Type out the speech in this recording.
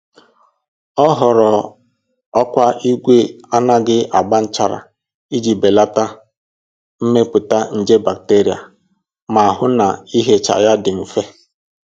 Ọ họọrọ ọkwá igwe anaghị agba nchara iji belata mmepụta nje bacteria ma hụ na ihicha ya dị mfe